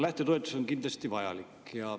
Lähtetoetus on kindlasti vajalik.